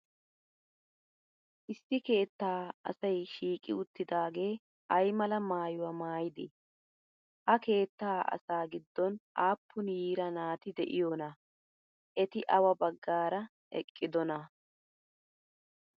Issi keettaa asay shiiqi uttidaagee ay mala maayuwaa maayidee? Ha keettaa asaa giddon aapun yira nati de'iyoogaa? Eti awa baggaara eqqidonaa?